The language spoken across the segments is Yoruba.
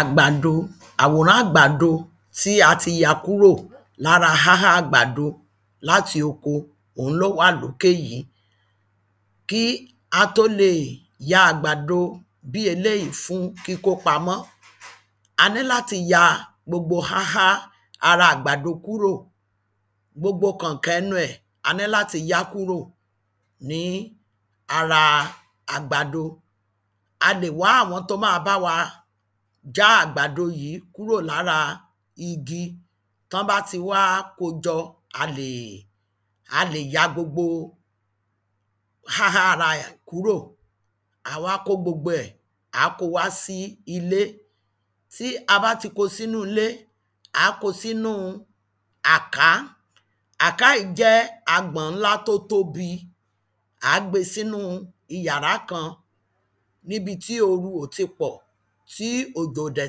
Àgbàdo. àwòrán àgbàdo tí a ya kúrò lára áhá àgbàdo láti oko, òun ló wà lókè yí. kí a tó lè ya àgbàdo bí eléyìí fún kíkó pamọ́, a ní láti ya gbogbo áhá ara àgbàdo kúrò, gbogbo kànkàn ẹnu ẹ̀, a ní láti yáa kúrò ní ara àgbàdo, a lè wá àwọn tó máa bá wa já àgbàdo yìí kúrò lára igi. tán bá ti wá kojọ, a lè, a lè ya gbogbo áhá ara ẹ̀ kúrò, àá wá kó gbogbo ẹ̀, àá kó o wá sí ilé. tí a bá ti kó o sínú ilé, àá kó o sínu àká. àká yìí jẹ́ agbọ̀n ńlá tó tóbi. àá gbé e sínú iyàrá kan, níbi tí ooru ò ti pọ̀, tí òjò ò dẹ̀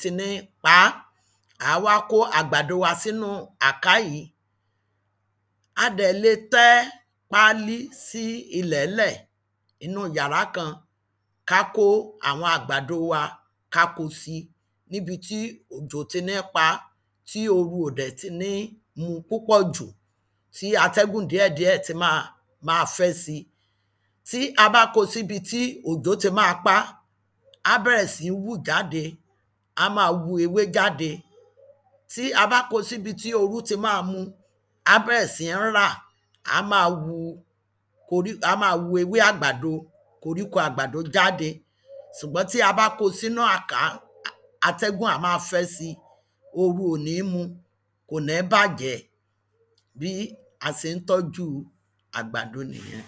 ti ní pa á. àá wá kó àgbàdo wa sínú àká yìí. a dẹ̀ le tẹ́ páálí sí ilẹ̀ẹ́lẹ̀ inú yàrá kan, ká kó àwọn àgbàdo wa, ká ko si, níbi tí òjò ò ti ní pa à, tí ooru ò dẹ̀ ti ní mú u púpọ̀ jù, tí atẹ́gùn díẹ̀díẹ̀ ti ma máa fẹ́ si. tí a bá ko síbi tí òjò ti máa pa á, á bẹ̀rẹ̀ sí hù jáde, á máa hu ewé jáde, tí a bá kó o síbi tí ooru ti máa mú u, á bẹ̀rẹ̀ sí ní rà, á máa hu korí, á máa hu ewé àgbàdo, koríko àgbàdo jáde. sùgbọ́n tí a bá kó o sínú àká, atẹ́gùn á máa fẹ́ sí i, ooru ò ní mú u, kò ní bàjẹ́, bí a se ń tọ́júu àgbàdo nìyẹn.